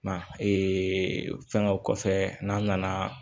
Ma fɛngɛ o kɔfɛ n'an nana